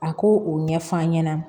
A ko o ɲɛf'an ɲɛna